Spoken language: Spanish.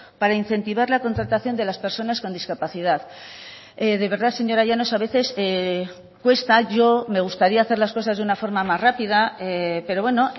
para incentivar la contratación de las personas con discapacidad de verdad señora llanos a veces cuesta yo me gustaría hacer las cosas de una forma más rápida pero bueno